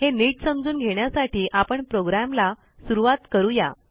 हे नीट समजून घेण्यासाठी आपण प्रोग्रॅमला सुरूवात करू या